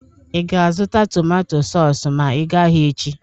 Ị ga- azụta tomato sọs ma ị ga ahia echi?